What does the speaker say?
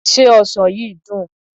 Se ọsàn yìí dùn?